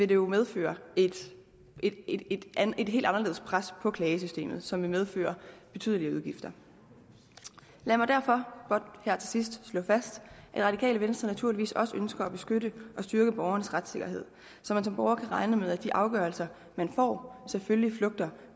det jo medføre et helt anderledes stort pres på klagesystemet som vil medføre betydelige udgifter lad mig derfor blot her til sidst slå fast at radikale venstre naturligvis også ønsker at beskytte og styrke borgernes retssikkerhed så man som borger kan regne med at de afgørelser man får selvfølgelig flugter